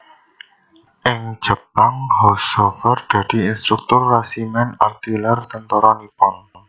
Ing Jepang Haushofer dadi instruktur resimen artileri tentara Nippon